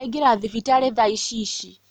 Aingĩra thibitarĩ thaa Ici ici